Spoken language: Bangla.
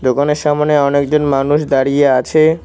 দোকানের সামনে অনেকজন মানুষ দাঁড়িয়ে আছে।